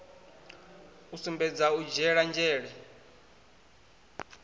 u sumbedza u dzhiele nzhele